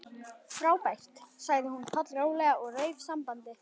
Frábært sagði hún pollróleg og rauf sambandið.